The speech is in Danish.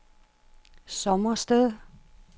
Sommersted